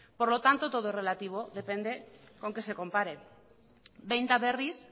por lo tanto todo es relativo depende con qué se compare behin eta berriz